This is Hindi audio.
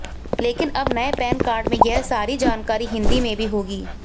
लेकिन अब नए पैन कार्ड में यह सारी जानकारी हिंदी में भी होगी